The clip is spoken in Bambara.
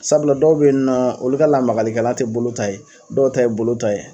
Sabula dɔw bɛ yen nɔ olu ka lamagalikɛlan tɛ bolo ta ye dɔw ta ye bolo ta ye.